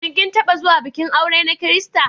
Shin kin taɓa zuwa bikin aure na Kirista?